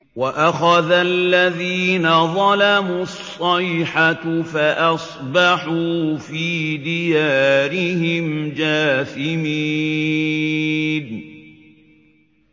وَأَخَذَ الَّذِينَ ظَلَمُوا الصَّيْحَةُ فَأَصْبَحُوا فِي دِيَارِهِمْ جَاثِمِينَ